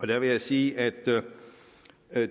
der vil jeg sige at